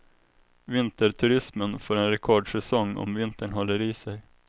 Vinterturismen får en rekordsäsong om vintern håller i sig.